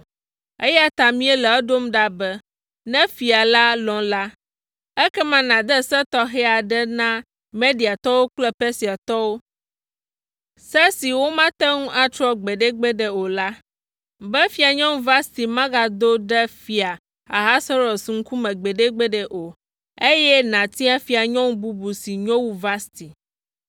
eya ta míele edom ɖa be, ne fia la lɔ̃ la, ekema nàde se tɔxɛ aɖe na Mediatɔwo kple Persiatɔwo, se si womate ŋu atrɔ gbeɖegbeɖe o la, be Fianyɔnu Vasti magado ɖe Fia Ahasuerus ŋkume gbeɖegbeɖe o, eye nàtia fianyɔnu bubu si nyo wu Vasti.